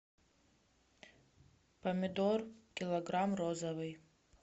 помидор килограмм розовый